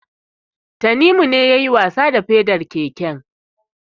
Tanimu ne yayi wasa da pedar keken.